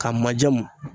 Ka maje mun